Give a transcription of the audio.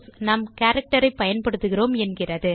நாம் கேரக்டர் ஐ பயன்படுத்துகிறோம் என்கின்றன